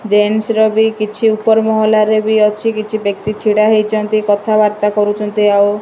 Jeans ର ବି କିଛି ଉପର ମହଲାରେ ବି ଅଛି। କିଛି ବ୍ୟକ୍ତି ଛିଡ଼ା ହେଇଚନ୍ତି କଥାବାର୍ତ୍ତା କରୁଚନ୍ତି। ଆଉ --